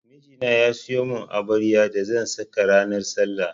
Miji na ya siyo mun abayar da zan saka ranar sallah